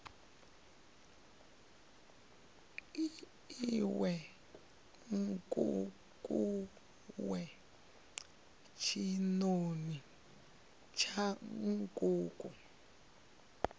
iwe nkukuwe tshinoni tsha nkuku